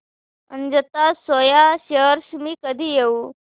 Ajanta soya shares मी कधी घेऊ